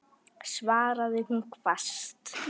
svaraði hún hvasst.